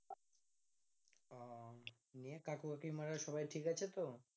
নিয়ে কাকু কাকিমারা সবাই ঠিকাছে তো?